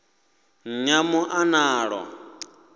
nyamuḽanalo